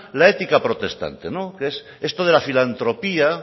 la ética protestante esto de la filantropía